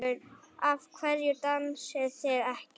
Af hverju dansið þið ekki?